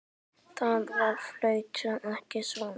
Það flautar ekki svona.